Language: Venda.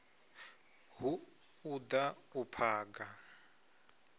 hu u da u phaga